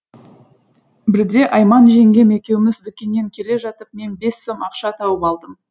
бірде айман жеңгем екеуміз дүкеннен келе жатып мен бес сом ақша тауып алдым